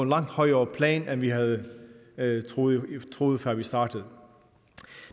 langt højere plan end vi havde havde troet troet før vi startede